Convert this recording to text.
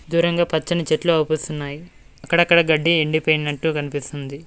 దూరంగా పచ్చని చెట్లు అవుపిస్తున్నాయి. అక్కడక్కడ గడ్డి ఎండిపోయినట్టు కనిపిస్తుంది.